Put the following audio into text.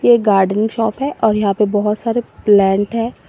एक garden shop है और यहां पर बहुत सारे प्लांट है।